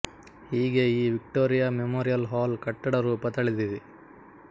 ಹೀಗೆ ಈ Victoria Memorial Hall ಕಟ್ಟಡ ರೂಪ ತಳೆದಿದೆ